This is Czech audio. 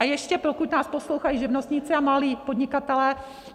A ještě, pokud nás poslouchají živnostníci a malí podnikatelé.